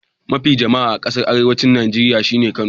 Kasa mafi jama'a a kasan arewancin Nijeriya shine Kano.